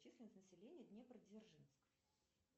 численность населения днепр дзержинск